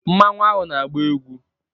Mmanwu ahụ na-agba egwu.